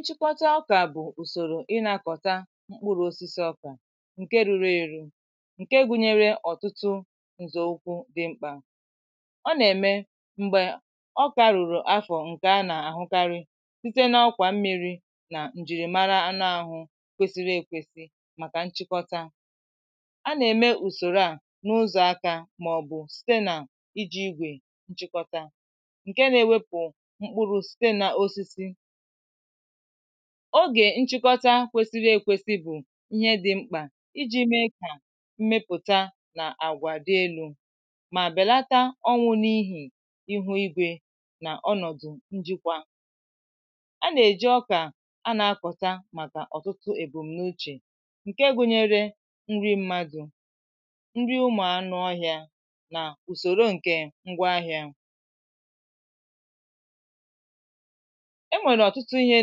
nchịkọta ọkà bụ̀ ùsòrò ị na-akọ̀ta mkpụrụ̇ osisi ọkà ǹke rụrụ èrụ ǹke gụnyere ọ̀tụtụ ǹzọ̀ụkwụ dị mkpà. ọ nà-ème m̀gbè ọkà rụ̀rụ̀ afọ̀ ǹkè a nà-àhụkarị site n’ọkwà mmiri̇ nà njìrìmara anụ àhụ kwesiri èkwesi màkà nchịkọta. a nà-ème ùsòrò à n’ụzọ̀ aka màọ̀bụ̀ site nà iji̇ igwè chịkọta ogè nchịkọta kwesịrị ekwesị bụ̀ ihe dị̀ mkpà iji̇ mee kà mmepụ̀ta nà àgwà dị elu̇ mà bèlata ọnwụ̇ n’ihì ihu igwė nà ọnọ̀dụ̀ njikwa. a nà-èji ọkà a nà-akọ̀ta màkà ọ̀tụtụ èbùm̀nàuchè ǹke gụ̇nyėrė nri mmadụ̇ nri ụmụ̀ anụ̇ ọhịȧ nà ùsòro ǹke ngwa ahịȧ. enwèrè ọ̀tụtụ ihe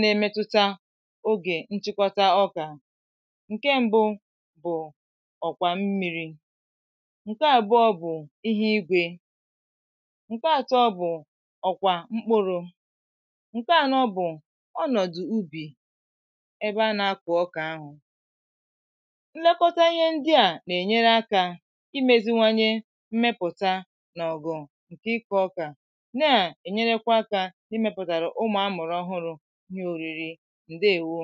na-emetuta ogè nchịkwọta ọkà ǹke mbụ bụ̀ ọ̀kwà mmiri̇. ǹke àbụọ bụ̀ ihe igwė ǹke àtọ bụ̀ ọ̀kwà mkpụrụ̇ ǹke ànọ bụ̀ ọnọ̀dụ̀ ubì ebe a na-akụ̀ ọkà ahụ̀. nlekọta ihe ndi à nà-ènyere akȧ imėziwanye mmepụ̀ta nà ọ̀gụ̀ ǹkè ikò ọkà na-ènyerekwa akȧ imeputa kwa ụmụ aka amụrụ ohụrụ ihe òriri ǹdeewo